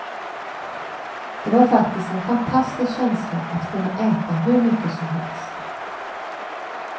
Det var faktiskt en fantastisk känsla att kunna äta hur mycket som helst.